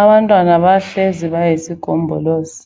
Abantwana bahlezi bayisigombolozi